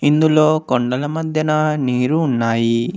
ఇందులో కొండల మధ్యన నీరు ఉన్నాయి.